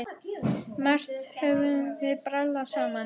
Margt höfum við brallað saman.